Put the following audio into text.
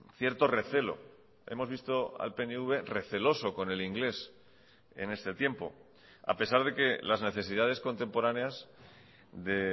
cierto recelo hemos visto al pnv receloso con el inglés en este tiempo a pesar de que las necesidades contemporáneas de